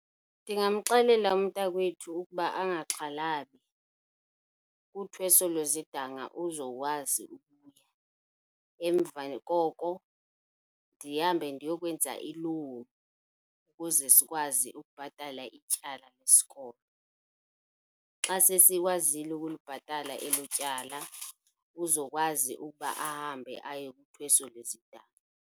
Ndingamxelela umntakwethu ukuba angaxhalabi, uthweso lwezidanga uzokwazi, emva koko ndihambe ndiyokwenza i-loan ukuze sikwazi ukubhatala ityala lesikolo. Xa sesikwazile ukulibhatala elo tyala uzokwazi ukuba ahambe aye so lwezidanga.